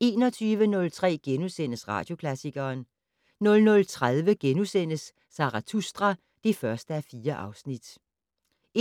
21:03: Radioklassikeren * 00:30: Zarathustra (1:4)*